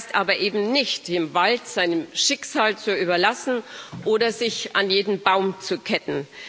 Das heißt aber eben nicht, den Wald seinem Schicksal zu überlassen oder sich an jeden Baum zu ketten.